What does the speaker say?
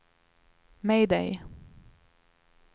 mayday